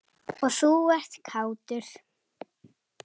Og þú ert kátur.